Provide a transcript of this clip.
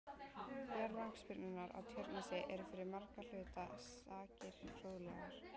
Jarðlagasyrpurnar á Tjörnesi eru fyrir margra hluta sakir fróðlegar.